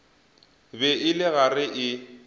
be e le gare e